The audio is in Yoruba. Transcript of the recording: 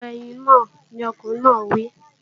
Bọ ẹyin náà, lọkùnrin náà wí!